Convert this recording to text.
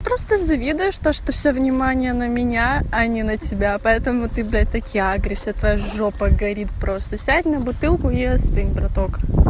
просто завидуешь то что всё внимание на меня они на тебя поэтому ты блядь так и агришся твоя жопа горит просто сядь на бутылку и остынь браток